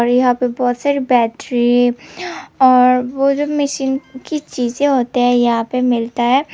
और यहाँ पे बहुत सारे बैट्री और वो जो मशीन की चीजें होते हैं यहाँ पे मिलता है।